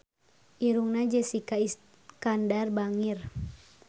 Irungna Jessica Iskandar bangir